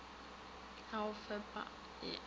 ya go fepa e a